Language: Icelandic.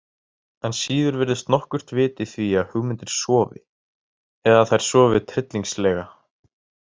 Enn síður virðist nokkurt vit í því að hugmyndir sofi, eða að þær sofi tryllingslega.